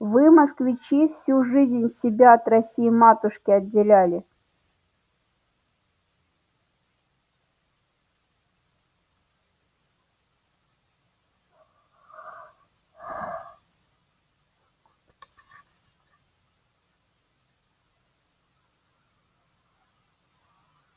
вы москвичи всю жизнь себя от россии-матушки отделяли